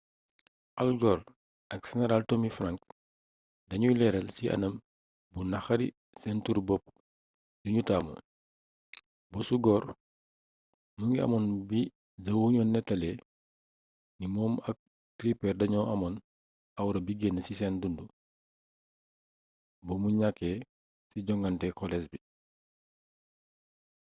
al gore ak seneraal tommy franks dañuy leeral ci anam bu naqari seen turu-bopp yuñu taamu bosu gore mu ngi amoon bi the onion nettalee ni moom ak tipper dañoo amoon awra bi gën ci seen dundu bu mu ñakkee ci joŋnate kolees bi